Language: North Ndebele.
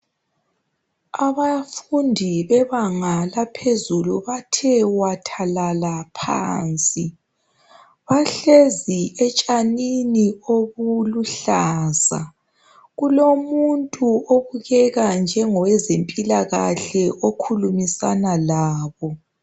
Abafundi bebanga laphezulu bathe wathalala phansi bahlezi etshanini obuluhlaza kulomuntu obukeka njengowezempilakahle okhulumisana labo